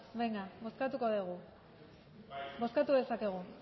ba bozkatu dugu bozkatu dezakegu